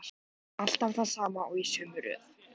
Alltaf það sama og í sömu röð.